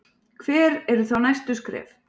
Hver eru þá næstu skref?